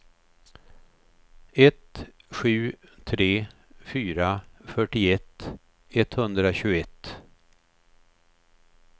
ett sju tre fyra fyrtioett etthundratjugoett